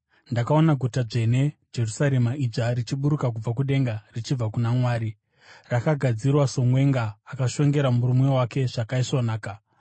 Ndakaona Guta Dzvene, Jerusarema idzva, richiburuka kubva kudenga richibva kuna Mwari, rakagadzirwa somwenga akashongera murume wake zvakaisvonaka.